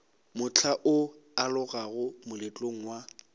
mohla o alogago moletlong wa